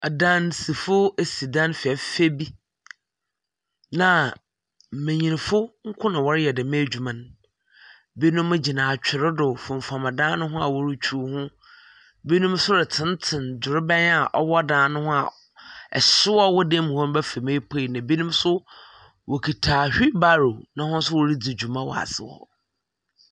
Adansifo asi dan fɛɛfɛ bi. na mmenyinfo nko na wɔreyɛ dɛm adwuma no. binom gyina atwer do fomfam dan no ho a ɔretwiw ho. binom nso retenetene drobɛn a ɛwɔ dan no ho a ɛhyew a ɔwɔ dan mu hɔ bɛfam epue na binom nso wɔkuta wheel barrow na hɔn nso redzi dwuma wɔ ase hɔ.